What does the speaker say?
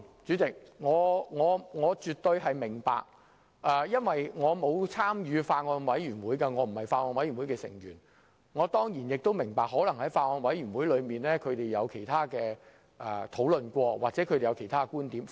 雖然我沒有參與法案委員會，並非其中一員，但我當然也理解在法案委員會的會議上，委員可能曾進行其他討論或提出其他觀點。